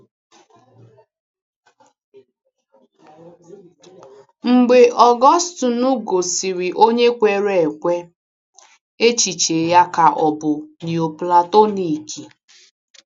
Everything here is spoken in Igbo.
Mgbe Ọgọstinu ghọsịrị onye kwere ekwe, echiche ya ka bụ Nioplatonik.